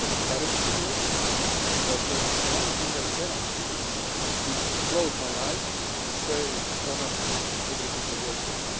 I have the courage to do it, but the only thing I cannot do is close my eyes and say no, everything was okay'.